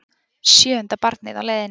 Sjöunda barnið á leiðinni